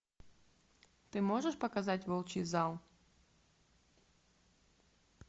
ты можешь показать волчий зал